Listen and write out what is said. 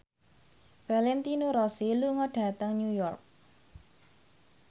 Valentino Rossi lunga dhateng New York